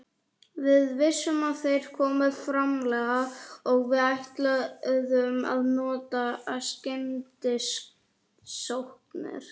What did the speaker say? Við vissum að þeir komu framarlega og við ætluðum að nota skyndisóknir.